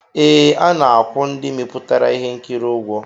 Ee, a na-akwụ ndị mmepụta ihe nkiri ụgwọ